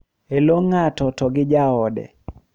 e lo ng`ato to gi jaode.